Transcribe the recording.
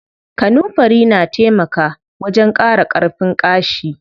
Kanunfari na taimaka wajen ƙara ƙarfin ƙashi.